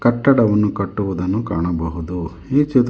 ಕಟ್ಟಡವನ್ನು ಕಟ್ಟುವುದನ್ನು ಕಾಣಬಹುದು ಈ ಚಿತ್ರ--